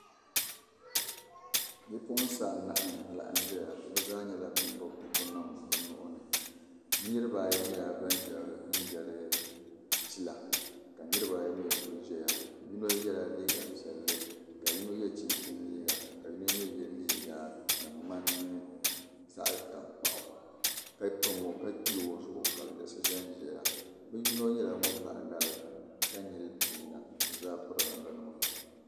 Bipuɣinsi anahi bizaa nyala ban gbubi bukunim bi nuhi ni, niribi ayi nyɛla banzɛ n jali pila kanirib ayi mi kul' zɛya yinɔ yela liiga piɛli ka yinɔ ye chinchini liiga, ka yinɔ mi ye liiga din ŋmani zaɣi tankpaɣu ka che ozuɣu ka di yiɣisi zɛ nzɛya bi yinɔ nyɛla ŋun bahi lari ka nyili ɔnyina bi zaa pirila namda nima.